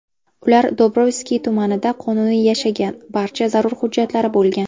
Ular Dobrovskiy tumanida qonuniy yashagan, barcha zarur hujjatlari bo‘lgan.